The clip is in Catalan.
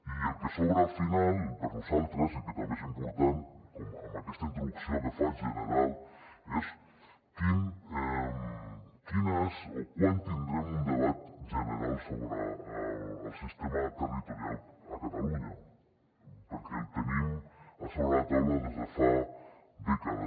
i el que sobra al final per nosaltres i que també és important amb aquesta introducció que faig general és quan tindrem un debat general sobre el sistema territorial a catalunya perquè el tenim a sobre la taula des de fa dècades